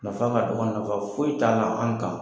Nafa ka dɔgɔn nafa foyi t'a la an kan.